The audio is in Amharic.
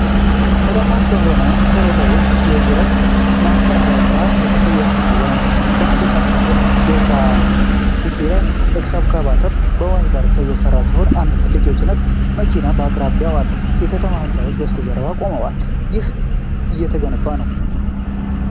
ተዳፋት በሆነ ሸለቆ ውስጥ የዥረት ማስቀየሪያ ሥራ እየተከናወነ ነው። አንድ ካተርፒላር ኤክስካቫተር በወንዝ ዳርቻ እየሠራ ሲሆን አንድ ትልቅ የጭነት መኪናም በአቅራቢያው አለ። የከተማ ሕንፃዎች ከበስተጀርባ ቆመዋል፣ ይህም እየተገነባ ነው።